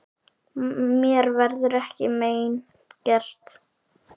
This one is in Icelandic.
Mér verður ekkert mein gert.